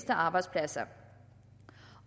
arbejdspladser